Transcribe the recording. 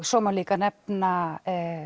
svo má líka nefna